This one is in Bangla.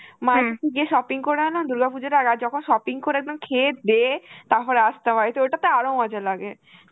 মায়ের সাথে যে shopping করায় না দুর্গা পুজোর আ~ আর যখন shopping করে একদম খেয়ে দে তারপরে আসতে হয়, তো ওইটা তো আরো মজা লাগে.